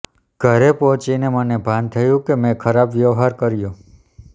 ઘરે પહોંચીને મને ભાન થયું કે મેં ખરાબ વ્યવહાર કર્યો